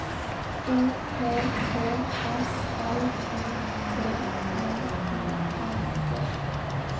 O P P S L U T N I N G